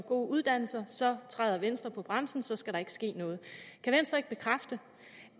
gode uddannelser så træder venstre på bremsen så skal der ikke ske noget kan venstre ikke bekræfte